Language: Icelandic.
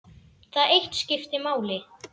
Það eitt skipti máli.